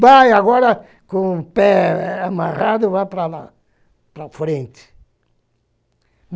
Vai, agora, com o pé amarrado, vai para lá, para frente.